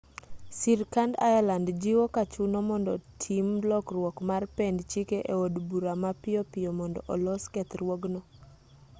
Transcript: sirkand ireland jiwo ka chuno mondo tim lokruok mar pend chike e od bura mapiyo piyo mondo olos kethruogno